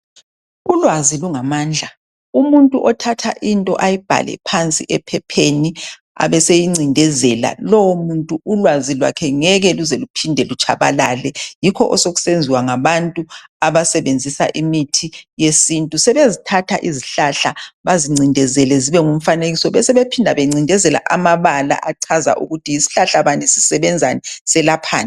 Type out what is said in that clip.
Ulwazi lungamandla, umuntu othatha into ayibhale phansi ephepheni abeseyincindezela. Lowo muntu ulwazi lwakhe ngeke luze luphinde lutshabalale. Yikho osokusenziwa ngabantu abasebenzisa imithi yesintu, sebezithatha izihlahla bazincindezele zibe ngumfanekiso besebephinda bancindezele amabala achaza ukuthi yisihlahla bani sisebenzani selaphani